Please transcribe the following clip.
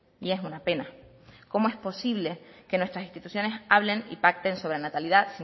y es una pena cómo es posible que nuestras instituciones hablen y pacten sobre la natalidad